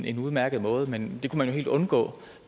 en udmærket måde men det kunne helt undgå